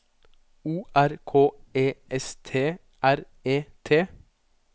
O R K E S T R E T